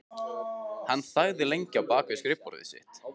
Hann þagði lengi á bak við skrifborðið sitt.